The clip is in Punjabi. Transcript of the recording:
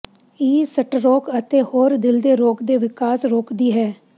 ਇਹ ਸਟਰੋਕ ਅਤੇ ਹੋਰ ਦਿਲ ਦੇ ਰੋਗ ਦੇ ਵਿਕਾਸ ਰੋਕਦੀ ਹੈ